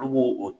Olu bo o